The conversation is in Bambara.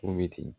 Tobi